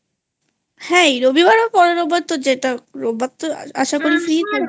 হ্যাঁ এই রবিবারে বা পরের রবিবার যেটা রোববার তো আশা কর FreeI